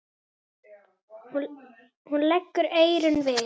Hún leggur eyrun við.